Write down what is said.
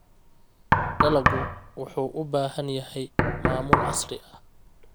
Dalaggu wuxuu u baahan yahay maamul casri ah.